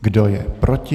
Kdo je proti?